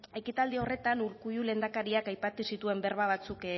ekitaldi horretan urkullu lehendakariak aipatu zituen berba batzuk